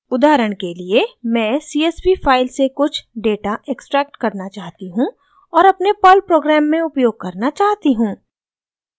उदाहरण के लिए मैं csv फाइल से कुछ डेटा एक्सट्रैक्ट करना चाहती हूँ और अपने पर्ल प्रोग्राम में उपयोग करना चाहती हूँ